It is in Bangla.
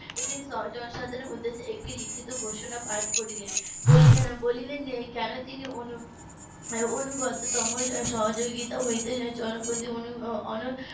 জনসাধারণের উদ্দেশে একটি লিখিত ঘোষণা পাঠ করিলেন বলিলেন যে কেন তিনি অনুগততম সহযোগিতা হইতে